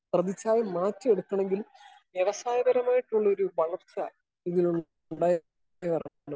Speaker 1 പ്രതിഫലം നോക്കിയെടുക്കണെങ്കിൽ വ്യവസായപരമായിട്ടുള്ള ഒരു വളർച്ച ഇതിൽ നിന്നും ഉണ്ടായിട്ടുള്ളതാണ്.